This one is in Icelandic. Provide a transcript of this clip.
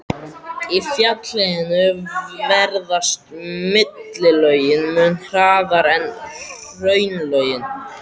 Í fjallahlíðum veðrast millilögin mun hraðar en hraunlögin.